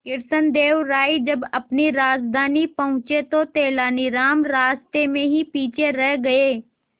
कृष्णदेव राय जब अपनी राजधानी पहुंचे तो तेलानीराम रास्ते में ही पीछे रह गए